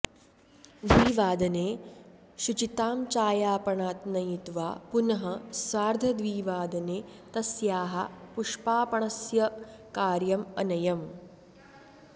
द्विवादने शुचितां चायापणात् नयित्वा पुनः सार्धद्विवादने तस्याः पुष्पापणस्य कार्यम् अनयम्